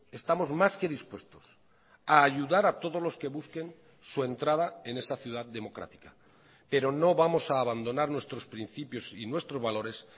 estamos más que dispuestos a ayudar a todos los que busquen su entrada en esa ciudad democrática pero no vamos a abandonar nuestros principios y nuestros valores